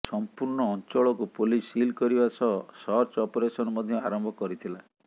ସମ୍ପୂର୍ଣ୍ଣ ଅଞ୍ଚଳକୁ police seal କରିବା ସହ ସର୍ଚ୍ଚ ଅପରେସନ ମଧ୍ୟ ଆରମ୍ଭ କରିଥିଲା